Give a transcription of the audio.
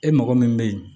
E mɔgɔ min bɛ ye